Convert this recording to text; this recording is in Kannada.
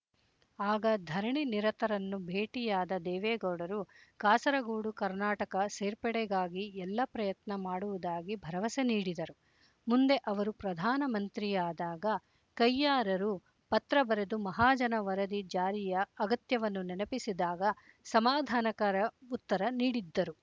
ಆಗ ಧರಣಿ ನಿರತರನ್ನು ಭೇಟಿಯಾದ ದೇವೇಗೌಡರು ಕಾಸರಗೊಡು ಕರ್ನಾಟಕ ಸೇರ್ಪಡೆಗಾಗಿ ಎಲ್ಲ ಪ್ರಯತ್ನ ಮಾಡುವುದಾಗಿ ಭರವಸೆ ನೀಡಿದರು ಮುಂದೆ ಅವರು ಪ್ರಧಾನಮಂತ್ರಿಯಾದಾಗ ಕಯ್ಯಾರರು ಪತ್ರ ಬರೆದು ಮಹಾಜನ ವರದಿ ಜಾರಿಯ ಅಗತ್ಯವನ್ನು ನೆನಪಿಸಿದಾಗ ಸಮಾಧಾನಕರ ಉತ್ತರ ನೀಡಿದ್ದರು